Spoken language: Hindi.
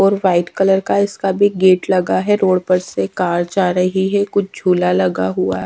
और व्हाइट कलर का इसका भी गेट लगा है रोड पर से कार जा रही है कुछ झूला लगा हुआ है।